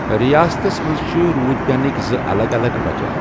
ریاستس مَنٛز چھِ روٗد پینٕکۍ زٕ الگ الگ وجہِ۔